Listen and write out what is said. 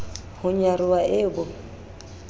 ho nyaroha e e bo